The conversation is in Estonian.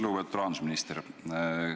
Lugupeetud rahandusminister!